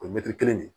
O ye kelen de ye